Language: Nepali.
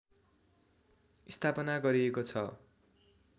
स्थापना गरिएको छ